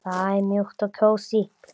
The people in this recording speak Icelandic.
Það er mjúkt og kósí.